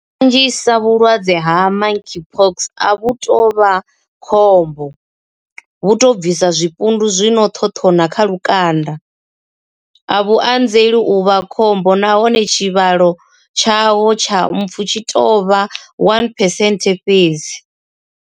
Kanzhisa vhulwadze ha Monkeypox a vhu tou vha khombo, vhu tou bvisa zwipundu zwi no ṱhoṱhona kha lukanda. A vhu anzeli u vha khombo nahone tshivhalo tshaho tsha mpfu tshi tou vha 1 phesenthe fhedzi.